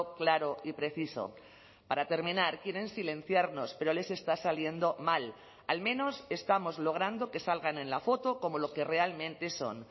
claro y preciso para terminar quieren silenciarnos pero les está saliendo mal al menos estamos logrando que salgan en la foto como lo que realmente son